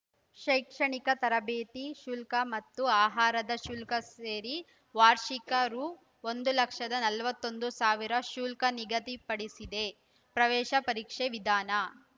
ಶೈಕ್ಷಣಿಕ ತರಬೇತಿ ಶುಲ್ಕ ಮತ್ತು ಆಹಾರದ ಶುಲ್ಕ ಸೇರಿ ವಾರ್ಷಿಕ ರು ಒಂದು ಲಕ್ಷದ ನಲವತ್ತೊಂದು ಸಾವಿರ ಶುಲ್ಕ ನಿಗಧಿಪಡಿಸಿದೆ ಪ್ರವೇಶ ಪರೀಕ್ಷೆ ವಿಧಾನ